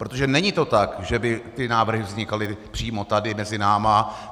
Protože to není tak, že by ty návrhy vznikaly přímo tady mezi námi.